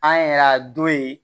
An yɛrɛ don yen